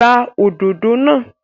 Gbá òdodo náà!